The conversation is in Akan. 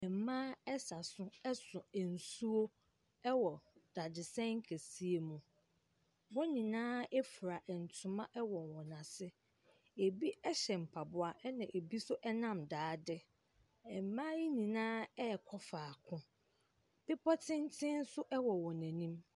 Mmaa sa so so nsuo wɔ dadesɛn kɛseɛ mu. Wɔn nyinaa fura ntoma wɔ wɔn ase. Ebi hyɛ mpaboa ɛnna ebi nso nam daade. Mmaa yi nyinaa rekɔ faako. Bepɔ tenten nso wɔ wɔn anim.